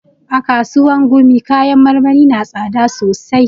A kasuwan gumi kayan marmari na tsada sosai